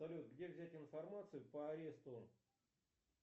салют где взять информацию по аресту